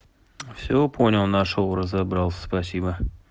всё понял нашёл разобрался спасибо